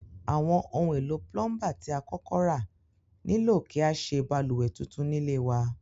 Àwon oun èlò plumber ti a kókó ra nílò kí a sé balùwè tuntun nílé wa